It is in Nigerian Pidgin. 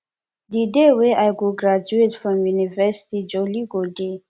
di day wey i go graduate from university jolly go dey